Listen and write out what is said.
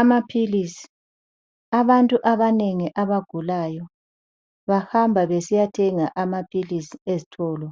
Amaphilizi, abantu abanengi abagulayo bahamba besiyathenga amaphilizi ezitolo